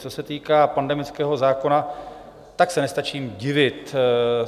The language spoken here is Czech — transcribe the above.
Co se týká pandemického zákona, tak se nestačím divit.